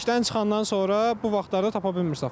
İşdən çıxandan sonra bu vaxtlarda tapa bilmirsiz avtobus.